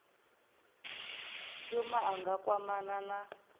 shuma a nga kwamana na